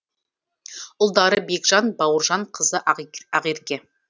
ұлдары бекжан бауыржан қызы ақерке